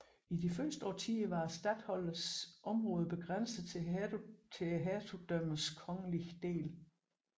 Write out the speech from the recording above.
I de første årtier var statholderens område begrænset til hertugdømmernes kongelige dele